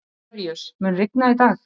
Hilaríus, mun rigna í dag?